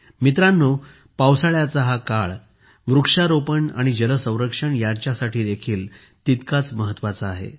मित्रांनो पावसाळ्याचा हा काळ वृक्षारोपण आणि जलसंरक्षण यांच्यासाठी देखील तितकाच महत्त्वाचा आहे